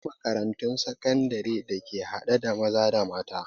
Akwai makarantun sakandare da ke haɗe da maza da mata